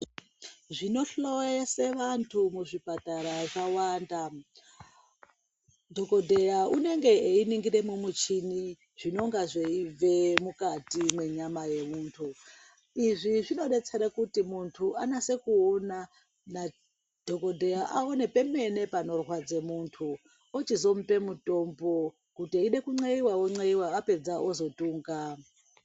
Zvinohloyese vantu muzvipatara zvawanda, dhokodheya unenge einingire mumuchini zvinonga zveibve mukati mwenyama yemuntu izvi zvinodetsere kuti muntu anase kuona nadhokodheya aone pemene panorwadze muntu ochizomupe mutombo kuti eide kunxeiwa onveiwa opedza ozodhunga.